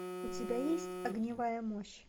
у тебя есть огневая мощь